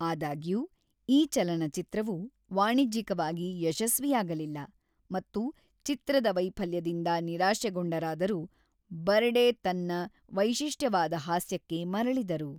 ಆದಾಗ್ಯೂ, ಈ ಚಲನಚಿತ್ರವು ವಾಣಿಜ್ಯಿಕವಾಗಿ ಯಶಸ್ವಿಯಾಗಲಿಲ್ಲ ಮತ್ತು ಚಿತ್ರದ ವೈಫಲ್ಯದಿಂದ ನಿರಾಶೆಗೊಂಡರಾದರೂ ಬರ್ಡೆ ತನ್ನ ವೈಶಿಷ್ಟ್ಯವಾದ ಹಾಸ್ಯಕ್ಕೆ ಮರಳಿದರು.